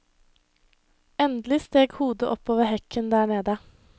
Endelig steg hodet opp over hekken der nede.